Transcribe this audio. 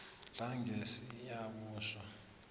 langesiyabuswa